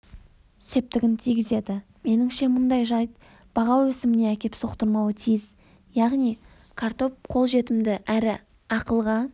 септігін тигізеді меніңше мұндай жайт баға өсіміне әкеп соқтырмауы тиіс яғни картоп қолжетімді әрі ақылға